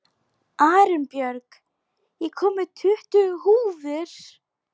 Arinbjörg, ég kom með tuttugu húfur!